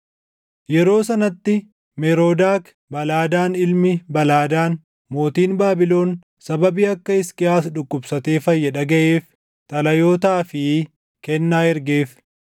Yeroo sanatti Meroodak Baladaan ilmi Baladaan mootiin Baabilon sababii akka Hisqiyaas dhukkubsatee fayye dhagaʼeef xalayootaa fi kennaa ergeef.